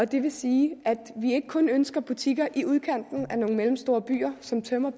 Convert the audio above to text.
det vil sige at vi ikke kun ønsker butikker i udkanten af nogle mellemstore byer som tømmer